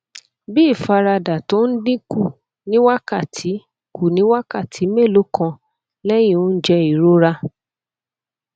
bí ìfaradà tó ń dín kù ní wákàtí kù ní wákàtí mélòó kan lẹyìn oúnjẹ ìrora